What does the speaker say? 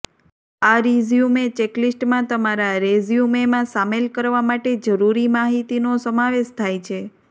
આ રિઝ્યૂમે ચેકલિસ્ટમાં તમારા રેઝ્યૂમેમાં શામેલ કરવા માટે જરૂરી માહિતીનો સમાવેશ થાય છે